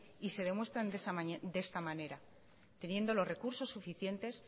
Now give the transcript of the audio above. y se demuestran de esta manera teniendo los recursos suficientes